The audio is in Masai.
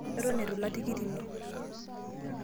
eton itu ilak tikit ino